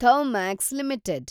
Thermax limited